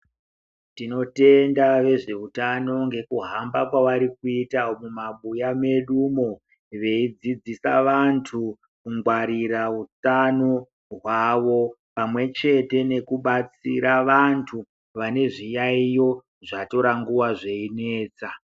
Tinotenda vezveutano ngekuhamba kwavari kuita mumabuya mwedumwo veidzidzisa vantu kungwarira utano hwavo pamwe chete nekubatsira vantu vane zviyaiyo zvatora nguvai zveinetsa.